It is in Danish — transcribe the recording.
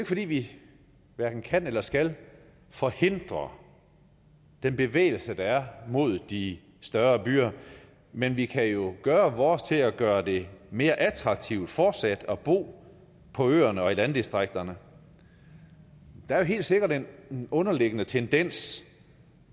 fordi vi kan eller skal forhindre den bevægelse der er mod de større byer men vi kan gøre vores til at gøre det mere attraktivt fortsat at bo på øerne og i landdistrikterne der er helt sikkert en underliggende tendens